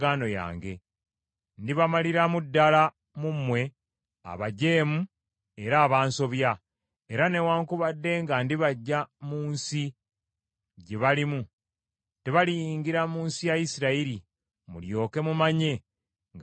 Ndibamaliramu ddala mu mmwe abajeemu era abansobya. Era newaakubadde nga ndibaggya mu nsi gye balimu, tebaliyingira mu nsi ya Isirayiri, mulyoke mumanye nga nze Mukama .